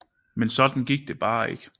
Men sådan gik det bare ikke